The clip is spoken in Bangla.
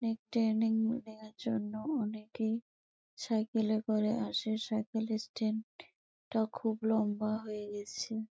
এর ট্রেনিং নেওয়ার জন্য অনেকে সাইকেলে করে আসে। সাইকেল স্ট্যান্ড -এটা খুব লম্বা হয়ে রয়েছে।